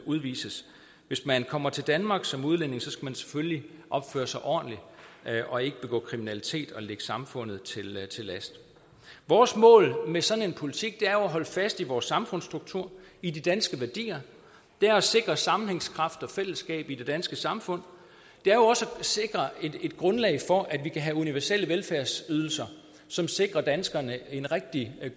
udvises hvis man kommer til danmark som udlænding skal man selvfølgelig opføre sig ordentligt og ikke begå kriminalitet og ligge samfundet til til last vores mål med sådan en politik er jo at holde fast i vores samfundsstruktur i de danske værdier det er at sikre sammenhængskraft og fællesskab i det danske samfund det er jo også at sikre et grundlag for at vi kan have universelle velfærdsydelser som sikrer danskerne en rigtig